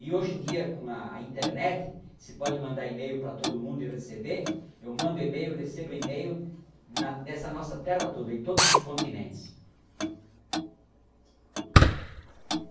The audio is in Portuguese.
E hoje em dia, com a internet, se pode mandar e-mail para todo mundo e receber, eu mando e-mail recebo e-mail na, nessa nossa terra toda, em todos os continentes.